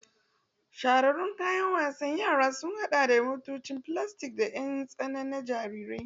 Shahararrun kayan wasan yara sun haɗa da motocin filastik da ƴan tsana na jarirai.